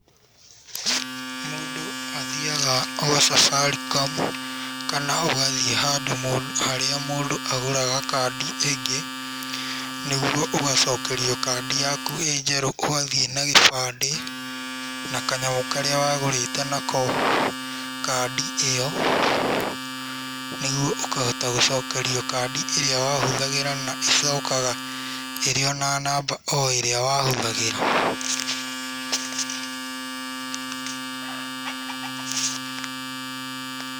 Mũndũ athiaga gwa Safaricom kana ũgathiĩ handũ harĩa mũndũ agũraga kandi ĩngĩ, nĩguo ũgacokerio kandi yaku ĩ njerũ, ũgathiĩ na gĩbandĩ na kanyamũ karĩa wagũrĩte nako kandi ĩyo, nĩguo ũkahota gũcokerio kandi ĩrĩa wahũthagĩra na ĩcokaga ĩrĩ o na namba o ĩrĩa wahũthagĩra.